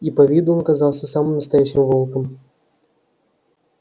и по виду он казался самым настоящим волком